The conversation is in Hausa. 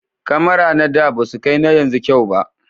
kamara na da basu kai na yanzu kyau ba